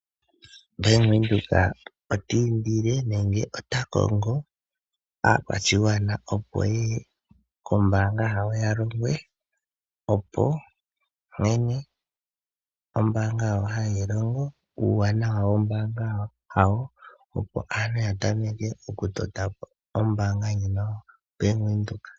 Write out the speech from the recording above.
Bank Windhoek ota indile nenge ota kongo aakwashigwana ye ye kombaanga yawo ya longwe nkene ombaanga yawo hayi longo, nuuwanawa wombaanga yawo, opo aantu ya patulule omapandja gawo nombaanga ndjika yoBank Windhoek.